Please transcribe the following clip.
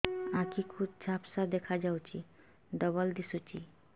ଆଖି କୁ ଝାପ୍ସା ଦେଖାଯାଉଛି ଡବଳ ଦିଶୁଚି